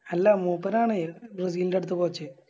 അല്ല മൂപ്പരാണ് ബ്രസീലിൻറെ അടുത്ത Coach